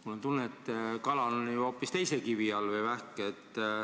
Mul on tunne, et kala või vähk on hoopis teise kivi all.